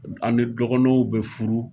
An ni dɔgɔnɔw be furu.